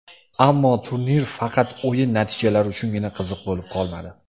Ammo turnir faqat o‘yin natijalari uchungina qiziq bo‘lib qolmadi.